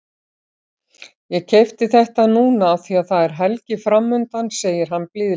Ég keypti þetta núna af því að það er helgi framundan, segir hann blíðlega.